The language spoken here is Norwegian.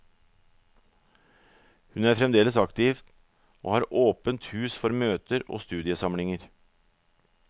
Hun er fremdeles aktiv og har åpent hus for møter og studiesamlinger.